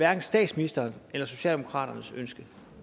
er statsministerens eller socialdemokraternes ønske